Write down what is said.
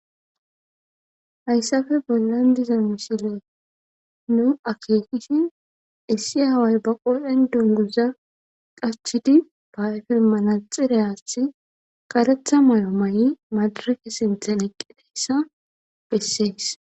hayssafe bollan diza misile nu akeekishin issi aaway ba qodhen dunguza qachidi ba ayefe manaxirayaathi qaretha may7o ma7i madarafe sinthen eqqideyssa bessees